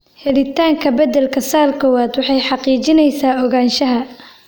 Helitaanka beddelka SALL kowaad waxay xaqiijinaysaa ogaanshaha.